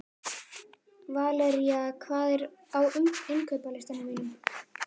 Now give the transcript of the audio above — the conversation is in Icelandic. Valería, hvað er á innkaupalistanum mínum?